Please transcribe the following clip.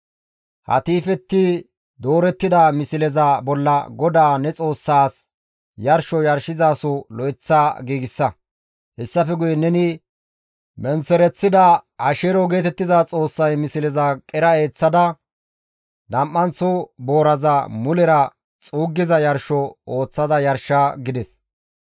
He tiifetti doorettida misleza bolla GODAA ne Xoossaas, yarsho yarshizaso lo7eththa giigsa; hessafe guye neni menththereththida Asheero geetettiza xoossay misleza qera eeththada nam7anththo booraza mulera xuuggiza yarsho ooththada yarsha» gides.